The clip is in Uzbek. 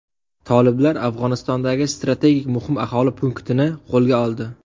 Toliblar Afg‘onistondagi strategik muhim aholi punktini qo‘lga oldi.